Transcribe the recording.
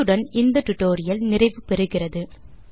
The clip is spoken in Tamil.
இத்துடன் இந்த டுடோரியல் நிறைவு பெறுகிறது